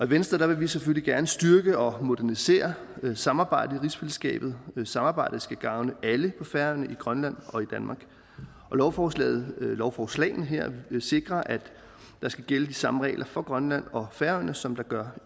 venstre vil vi selvfølgelig gerne styrke og modernisere samarbejdet i rigsfællesskabet samarbejdet skal gavne alle på færøerne i grønland og i danmark lovforslagene lovforslagene her vil sikre at der skal gælde de samme regler for grønland og færøerne som der gør